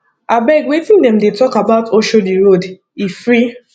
abeg wetin dem dey talk about oshodi road e free